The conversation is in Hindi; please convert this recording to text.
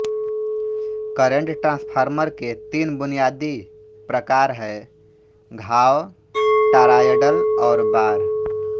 करेंट ट्रांसफार्मर के तीन बुनियादी प्रकार हैं घाव टॉरॉयडल और बार